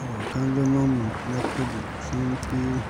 Abokan zaman mu na kudu sun fi mu